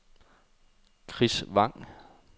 Chris Vang